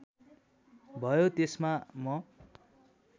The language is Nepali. भयो त्यसमा म